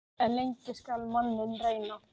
En lengi skal manninn reyna.